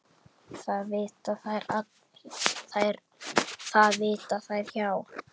Það vita þær hjá